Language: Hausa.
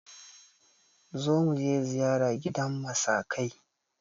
Zo muje ziyara gidan masakai!